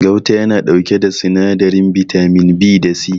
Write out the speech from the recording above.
Gauta ya na ɗauke da sinadarin bitamin B da C